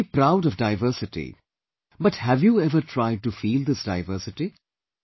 We feel proud of diversity but have you ever tried to feel this diversity